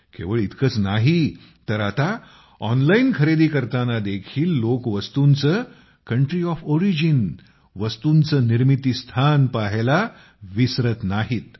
केवळ इतकेच नाही तर आता ऑनलाइन खरेदी करताना देखील लोक वस्तूचे कंट्री ओएफ ओरिजिन वस्तूंचे निर्मिती स्थान पाहायला विसरत नाहीत